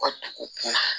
U ka dugu kuma